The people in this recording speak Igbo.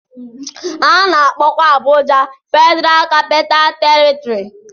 A na-akpọkwa Abuja Federal Capital Territory.